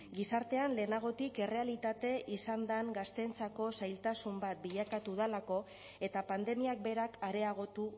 gizartean lehenagotik errealitate izan den gazteentzako zailtasun bat bilakatu delako eta pandemiak berak areagotu